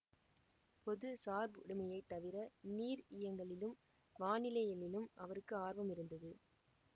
பொது சார்புடைமையைத் தவிர நீரியங்கியலிலும் வானிலையியலிலும் அவருக்கு ஆர்வமிருந்தது